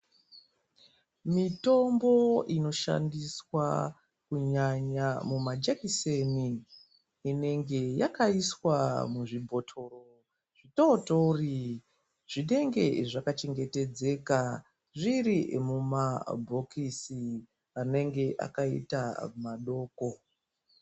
Mitombo inoshandiswa kunyanya mumajekiseni inenge yakaiswa muzvibhotoro zvitootori zvinenge zvakachengetedzeka zviri mumabhokisi anenge akaita madoko.